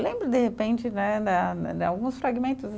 Lembro, de repente né, da de alguns fragmentos